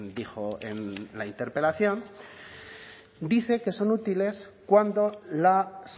dijo en la interpelación dice que son útiles cuando las